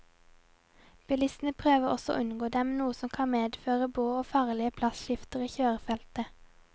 Bilistene prøver også å unngå dem, noe som kan medføre brå og farlige plasskifter i kjørefeltet.